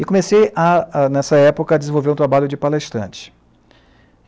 E comecei, a a nessa época, a desenvolver um trabalho de palestrante.